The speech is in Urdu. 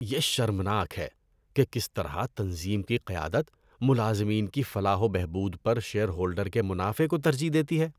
یہ شرمناک ہے کہ کس طرح تنظیم کی قیادت ملازمین کی فلاح و بہبود پر شیئر ہولڈر کے منافع کو ترجیح دیتی ہے۔